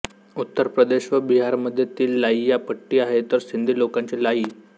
उत्तरप्रदेश व बिहारमध्ये ती लाइय्या पट्टी आहे तर सिंधी लोकांची लायी